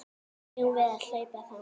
Eigum við að hlaupa þangað?